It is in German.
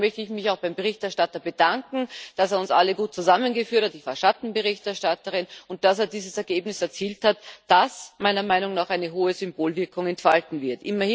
Deshalb möchte ich mich auch beim Berichterstatter bedanken, dass er uns alle gut zusammengeführt hat ich war Schattenberichterstatterin und dass er dieses Ergebnis erzielt hat, das meiner Meinung nach eine hohe Symbolwirkung entfalten wird.